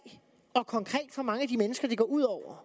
og meget konkret for mange af de mennesker det går ud over